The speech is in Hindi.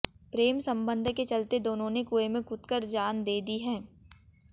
प्रेम संबंध के चलते दोनों ने कुएं में कूदकर जान दे दी है